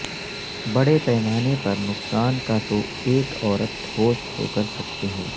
بڑے پیمانے پر نقصان کا تو ایک عورت ہوش کھو کر سکتے ہیں